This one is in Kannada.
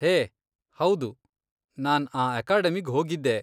ಹೇ! ಹೌದು, ನಾನ್ ಆ ಅಕಾಡೆಮಿಗ್ ಹೋಗಿದ್ದೆ.